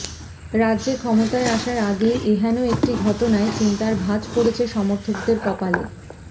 রাজ্যে ক্ষমতায় আসার আগেই এহেন একটি ঘটনায় চিন্তার ভাঁজ পড়েছে সমর্থকদের কপালে